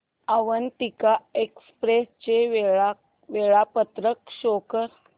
Avantika express चे वेळापत्रक show कर